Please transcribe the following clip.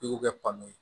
I y'o kɛ panpu ye